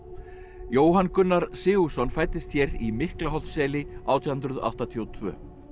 Jóhann Gunnar Sigurðsson fæddist hér í átján hundruð áttatíu og tvö